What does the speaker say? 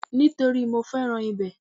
Nítorípé mo fẹ́ràn ibẹ̀